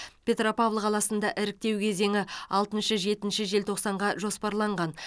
петропавл қаласында іріктеу кезеңі алтыншы жетінші желтоқсанға жоспарланған